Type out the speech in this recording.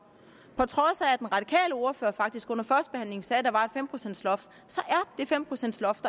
på trods af at ordfører faktisk under førstebehandlingen sagde at der var et fem procents loft så er det fem procents loft